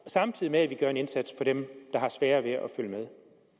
samtidig med at vi gør en indsats for dem der har sværere ved at følge med